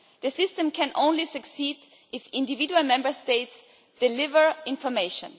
The system can only succeed if individual Member States deliver information.